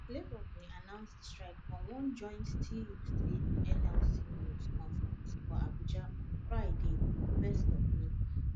labour bin announce di strike for one joint tuc nlc news conference for abuja on friday 31 may